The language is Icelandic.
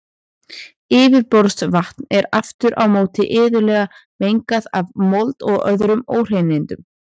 Yfirborðsvatn er aftur á móti iðulega mengað af mold og öðrum óhreinindum.